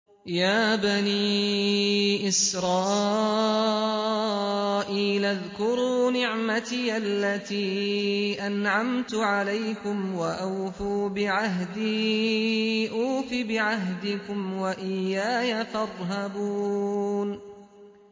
يَا بَنِي إِسْرَائِيلَ اذْكُرُوا نِعْمَتِيَ الَّتِي أَنْعَمْتُ عَلَيْكُمْ وَأَوْفُوا بِعَهْدِي أُوفِ بِعَهْدِكُمْ وَإِيَّايَ فَارْهَبُونِ